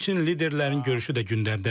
Həmçinin liderlərin görüşü də gündəmdədir.